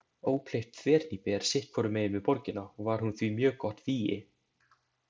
Ókleift þverhnípi er sitt hvorum megin við borgina og var hún því mjög gott vígi.